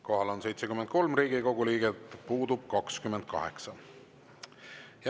Kohal on 73 Riigikogu liiget, puudub 28.